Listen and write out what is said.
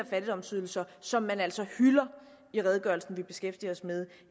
fattigdomsydelser som man altså hylder i redegørelsen vi beskæftiger os med